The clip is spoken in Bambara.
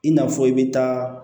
I n'a fɔ i bɛ taa